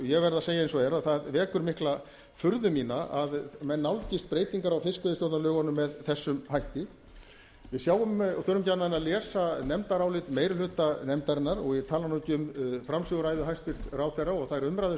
ég verð að segja eins og er að það vekur mikla furðu mína að menn nálgist breytingar á fiskveiðistjórnarlögunum með þessum hætti við þurfum ekki annað en að lesa nefndarálit meiri hluta nefndarinnar og ég tala nú ekki um framsöguræðu hæstvirtur ráðherra og þær umræður